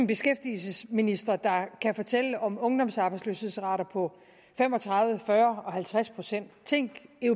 beskæftigelsesministre der kan fortælle om ungdomsarbejdsløshedsrater på fem og tredive fyrre og halvtreds procent tænk